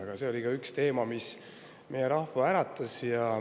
Aga see oli ka üks teema, mis meie rahva äratas.